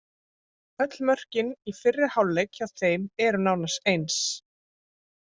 Öll mörkin í fyrri hálfleik hjá þeim eru nánast eins.